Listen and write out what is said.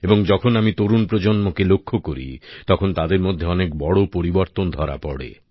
এবং যখন আমি তরুণ প্রজন্মকে লক্ষ্য করি তখন তাদের মধ্যে অনেক বড় পরিবর্তন ধরা পড়ে